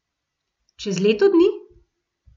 Čez leto dni?